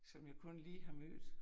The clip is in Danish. Som jeg kun lige har mødt